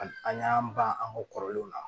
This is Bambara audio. A an y'an ban an ka kɔrɔlenw na